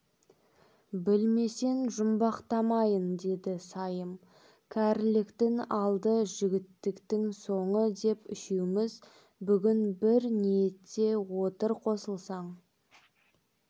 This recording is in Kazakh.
білмесең жұмбақтамайын деді сайым кәріліктің алды жігіттіктің соңы деп үшеуіміз бүгін бір ниетте отыр қосылсаң